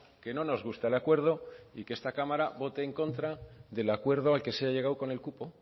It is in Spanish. que no nos gusta el acuerdo y que esta cámara vote en contra del acuerdo al que se ha llegado con el cupo